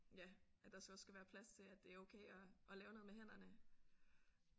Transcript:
Ja at der så også skal være plads til at det er okay at at lave noget med hænderne